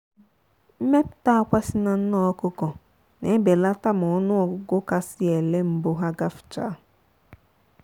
mmepụta akwa si na nne ọkụkọ na belata ma ọnụ ọgụgụ kasị ele mbụ ha gafchaa